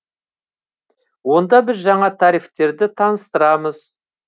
онда біз жаңа тарифтерді таныстарамыз